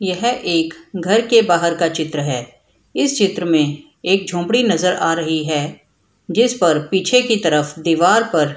यह एक घर के बाहर का चित्र है इस चित्र में एक झोपड़ी नजर आ रही है जिसपर पीछे की तरफ दिवार पर --